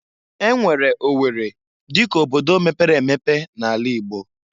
E nwere O werri dịka obodo mepere emepe na'ala Igbo.